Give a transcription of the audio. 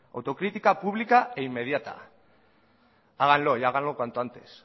autocrítica pública e inmediata háganlo y háganlo cuanto antes